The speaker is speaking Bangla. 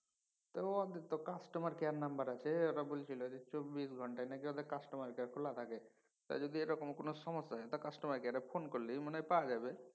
ত ওদের তো customer care number আছে ওরা বলছিল যে চব্বিশ ঘন্তাই নাকি ওদের customer care খোলা থাকে। তা যদি এরকম কোনও সমস্যা হয় customer care এ ফোন করলেই মনে হয় পাওয়া যাবে।